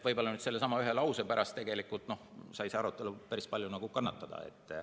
Võib-olla sellesama ühe lause pärast sai see arutelu päris palju kannatada.